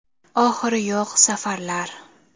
Oxiri yo‘q safarlar.